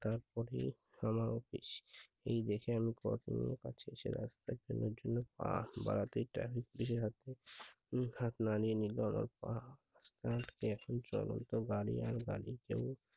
এই দেখে আমি পা হাত বাড়াতে দিশেহারা এখন চলন্ত গাড়ি আর গাড়িতে